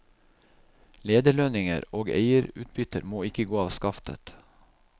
Lederlønninger og eierutbytter må ikke gå av skaftet.